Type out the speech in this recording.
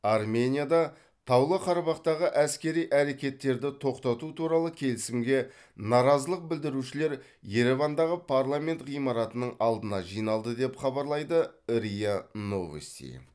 арменияда таулы қарабақтағы әскери әрекеттерді тоқтату туралы келісімге наразылық білдірушілер еревандағы парламент ғимаратының алдына жиналды деп хабарлайды риа новости